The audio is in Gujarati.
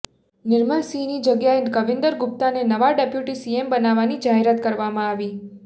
નિર્મલ સિંહની જગ્યાએ કવિંદર ગુપ્તાને નવા ડેપ્યૂટી સીએમ બનાવવાની જાહેરાત કરવામાં આવી